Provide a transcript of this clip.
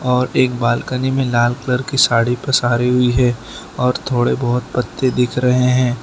और एक बालकनी में लाल कलर की साड़ी पसारी हुई है और थोड़े बहोत पत्ते दिख रहे हैं।